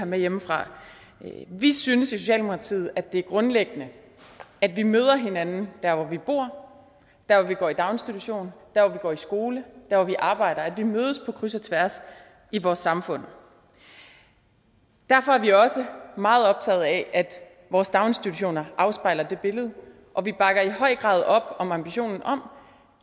med hjemmefra vi synes i socialdemokratiet det er grundlæggende at vi møder hinanden der hvor vi bor der hvor vi går i daginstitution der hvor vi går i skole og der hvor vi arbejder at vi mødes på kryds og tværs i vores samfund derfor er vi også meget optagede af at vores daginstitutioner afspejler det billede og vi bakker i høj grad op om ambitionen om